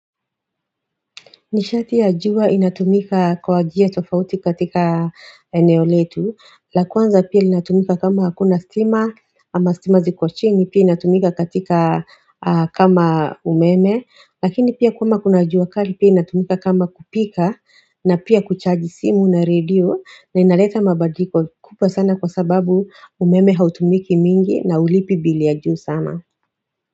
Nishati ya jua inatumika kwa njia tofauti katika eneoletu, la kwanza pia inatumika kama hakuna stima ama stima ziko chini pia inatumika katika kama umeme, lakini pia kama kuna jua kali pia inatumika kama kupika na pia kuchaji simu na redio na inaleta mabadiliko kubwa sana kwa sababu umeme hautumiki mingi na ulipi bili ya juu sana.